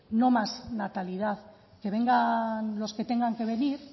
no más natalidad que vengan los que tengan que venir